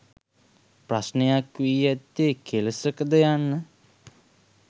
ප්‍රශ්නයක් වී ඇත්තේ කෙලෙසකද යන්න.